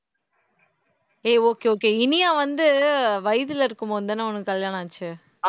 ஏய் okay okay Iniya வந்து வயத்துல இருக்கும் போதுதானே உனக்கு கல்யாணம் ஆச்சு